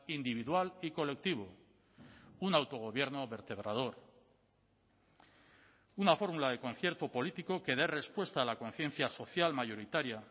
individual y colectivo un autogobierno vertebrador una fórmula de concierto político que dé respuesta a la conciencia social mayoritaria